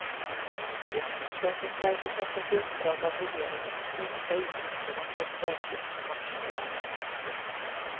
Riksförsäkringsverket har fått i uppdrag av regeringen att minska utgifterna för förtidspensionering. punkt